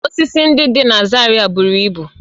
Osisi ndị dị na Zaria buru ibu